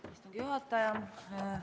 Austatud juhataja!